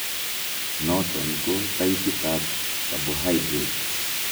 Niton ko taipit ab carbohydrate